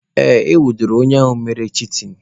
Ee, e nwudere onye ahụ mere chitin.